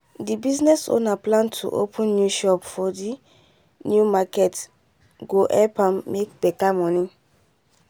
the business owner plan to open new shop for the new market go help am make better money